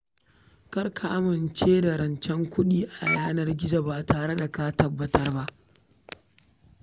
Kar ka amince da buƙatar kuɗi a shafukan yanar gizo ba tare da ka tabbatar ba.